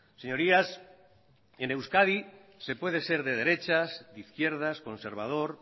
señorías en euskadi se puede ser de derechas de izquierdas conservador